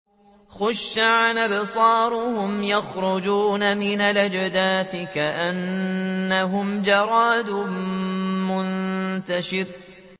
خُشَّعًا أَبْصَارُهُمْ يَخْرُجُونَ مِنَ الْأَجْدَاثِ كَأَنَّهُمْ جَرَادٌ مُّنتَشِرٌ